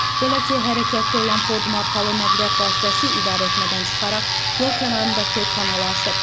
Belə ki, hərəkətdə olan Ford markalı nəqliyyat vasitəsi idarəetmədən çıxaraq yol kənarındakı kanala aşıb.